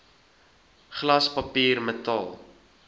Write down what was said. glas papier metaal